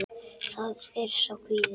Það er sá kvíði.